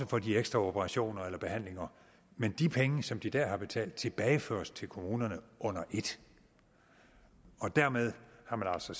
for de ekstra operationer eller behandlinger men de penge som de dér har betalt tilbageføres til kommunerne under et dermed har man altså